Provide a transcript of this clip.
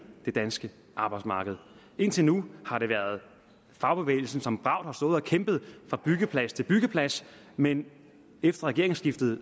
det danske arbejdsmarked indtil nu har det været fagbevægelsen som bravt har stået og kæmpet fra byggeplads til byggeplads men efter regeringsskiftet